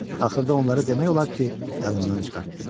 Axırda onları demək olar ki, yadından çıxartdı.